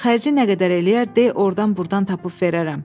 Xərci nə qədər eləyər, de ordan-burdan tapıb verərəm.